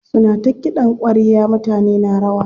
Suna ta kiɗan ƙwarya mutane na rawa.